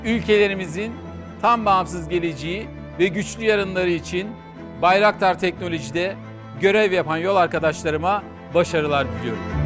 Ölkələrimizin tam bağımsız gələcəyi və güclü yarınları üçün Bayraktar Teknoloji'də görev yapan yol arkadaşlarıma başarılar diləyirəm.